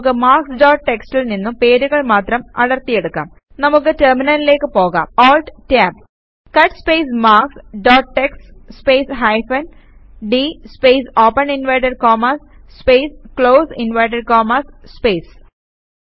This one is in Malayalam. നമുക്ക് മാർക്ക്സ് ഡോട്ട് txtൽ നിന്നും പേരുകൾ മാത്രം അടർത്തി എടുക്കാം നമുക്ക് ടെർമിനലിലേക്ക് പോകാം ALT Tab cut space marks dot TXT space hyphen d space open inverted commas space close inverted commas space